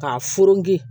K'a furigi